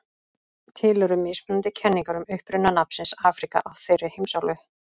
Til eru mismunandi kenningar um uppruna nafnsins Afríka á þeirri heimsálfu.